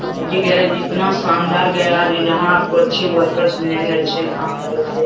और ये गैरेज इतना शानदार गैरेज है जहाँ आपको अच्छे वर्कर्स मिलेगे अच्छे काम करेगे।